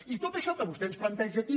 i tot això que vostè ens planteja aquí